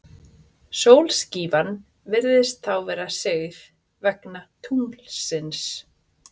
Sólskífan virðist þá vera sigð, vegna tunglsins.